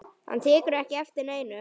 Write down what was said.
Hann tekur ekki eftir neinu.